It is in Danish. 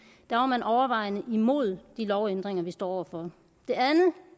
der var man overvejende imod de lovændringer vi står over for